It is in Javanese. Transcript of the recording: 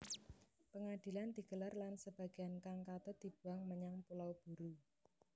Pangadilan digelar lan sebagéan kang katut dibuang menyang Pulau Buru